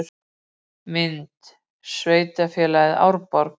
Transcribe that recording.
Mynd: Sveitarfélagið Árborg